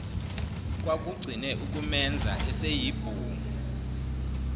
kwakugcine ukumenza eseyibhungu